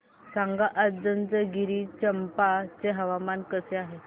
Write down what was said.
सांगा आज जंजगिरचंपा चे हवामान कसे आहे